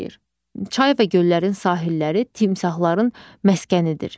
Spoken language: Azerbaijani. Çay və göllərin sahilləri timsahların məskənidir.